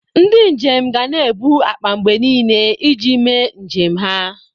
Ndị njem ga na-ebu akpa mgbe niile iji mee njem ha.